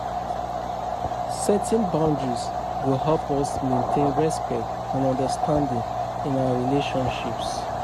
Setting boundaries go help us maintain respect and understanding in our relationships.